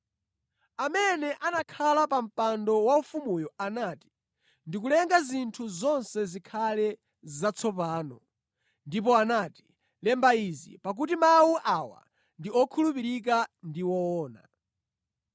Amene anakhala pa mpando waufumuyo anati, “Ndikulenga zinthu zonse zikhale zatsopano!” Ndipo anati, “Lemba izi, pakuti mawu awa ndi okhulupirika ndi woona.”